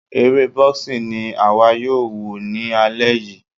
Eré boxing ni àwa yóò wò ní alẹ́ yìí.